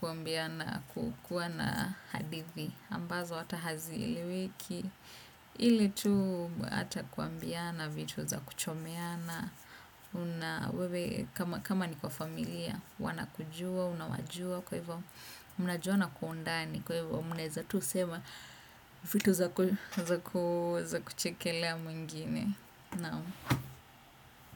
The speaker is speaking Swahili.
kuambiana, kukuwa na hadithi ambazo hata hazieleweki. Ili tu hata kuambiana vitu za kuchomeana. Wewe kama kama ni kwa familia wanakujua, unawajua kwa hivyo mnajuana kwa undani, kwa hivyo mnaweza tu sema vitu za kuchekelea mwingine, naam.